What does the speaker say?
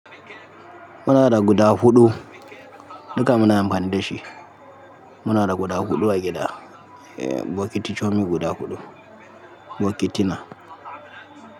Muna da guda huɗu, duka muna amfani da shi. Muna da guda huɗu a gida, eh, bokiti toci guda huɗu, bokiti na.